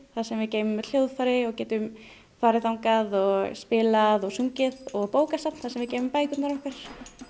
þar sem við geymum öll hljóðfæri og getum farið þangað og spilað og sungið og bókasafn þar sem við geymum bækurnar okkar